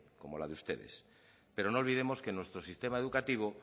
como la de ustedes pero no olvidemos que nuestro sistema educativo